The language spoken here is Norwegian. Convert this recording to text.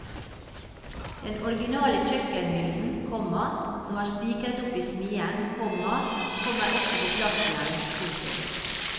Den originale kjøkkenhyllen, komma som var spikret opp i smien, komma kommer også på plass igjen. punktum